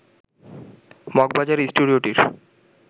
মগবাজারে স্টুডিওটির